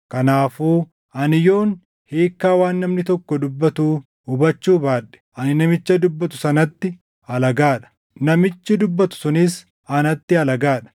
Kanaafuu ani yoon hiikkaa waan namni tokko dubbatuu hubachuu baadhe ani namicha dubbatu sanatti alagaa dha. Namichi dubbatu sunis anatti alagaa dha.